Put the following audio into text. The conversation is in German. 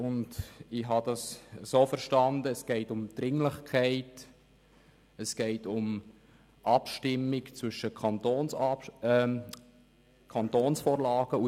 Ich habe es so verstanden, dass es um die Dringlichkeit und die Abstimmung zwischen Kantonsvorlagen geht.